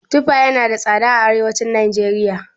Tufa yana da tsada a arewacin najeriya.